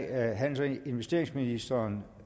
er handels og investeringsministeren